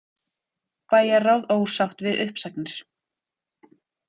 Bæjarráð ósátt við uppsagnir